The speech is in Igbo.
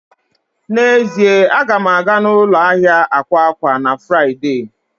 N'ezie, a ga m aga ụlọ ahịa akwa akwa na Fraịde